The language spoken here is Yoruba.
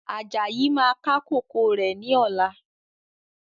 Ajayi máa ká kòkó rẹ̀ ni ọ̀la.